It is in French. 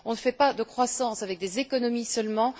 On ne fait pas de croissance avec des économies seulement.